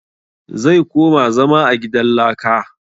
Zai koma zama a gidan laka